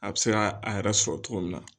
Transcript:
A bɛ se ka a yɛrɛ sɔrɔ cogo min na